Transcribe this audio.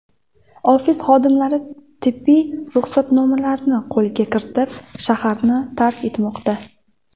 Ofis xodimlari tibbiy ruxsatnomalarni qo‘lga kiritib, shaharni tark etmoqda.